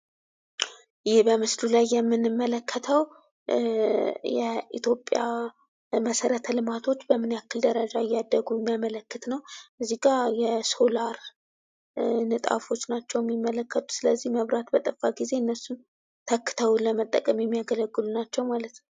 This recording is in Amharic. ይህ በምስሉ ላይ የምንመለከተው የኢትዮጵያ መሰረተ ልማቶች በምን ያክል ደረጃ እንዳደጉ የሚያመለክት ነው ።እዚህ ጋ የሶላር ንጣፎች ናቸው ሚመለከቱት። ስለዚህ መብራት በጠፋ ጊዜ እነሱን ተክተው ለመጠቀም የሚያገለግሉ ናቸው ማለት ነው ።